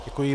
Děkuji.